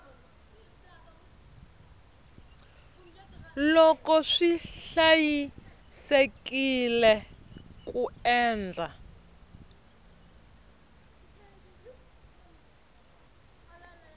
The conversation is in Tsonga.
loko swi hlayisekile ku endla